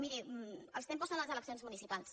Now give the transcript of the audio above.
miri els tempos són les eleccions municipals